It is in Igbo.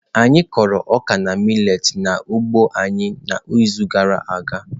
Anyị kụrụ ọka na millet n'ugbo anyị n'izu gara aga.